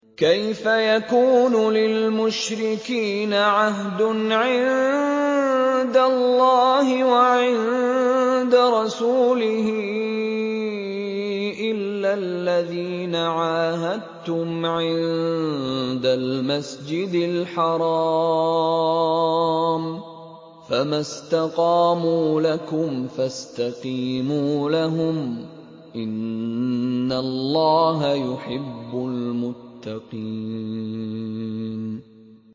كَيْفَ يَكُونُ لِلْمُشْرِكِينَ عَهْدٌ عِندَ اللَّهِ وَعِندَ رَسُولِهِ إِلَّا الَّذِينَ عَاهَدتُّمْ عِندَ الْمَسْجِدِ الْحَرَامِ ۖ فَمَا اسْتَقَامُوا لَكُمْ فَاسْتَقِيمُوا لَهُمْ ۚ إِنَّ اللَّهَ يُحِبُّ الْمُتَّقِينَ